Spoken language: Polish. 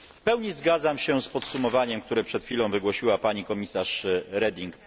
W pełni zgadzam się z podsumowaniem, które przed chwilą wygłosiła pani komisarz Reding.